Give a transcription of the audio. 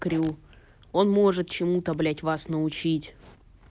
крю он может чему то блядь вас научить